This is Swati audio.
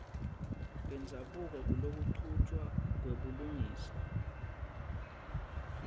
bendzabuko kulokuchutjwa kwebulungisa